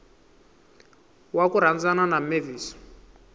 wa ku rhandzana na mavis